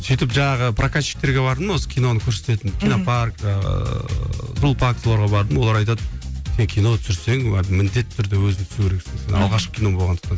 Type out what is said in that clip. сөйтіп жаңағы прокатчиктерге бардым осы киноны көрсететін кинопарк ыыы соларға бардым олар айтады сен кино түсірсең міндетті түрде өзің түсу керексің алғашқы кино болғандықтан